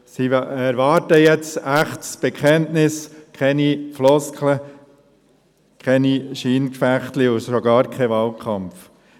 Sie erwarten jetzt ein echtes Bekenntnis, keine Floskeln, keine kleinen Scheingefechte und schon gar keinen Wahlkampf.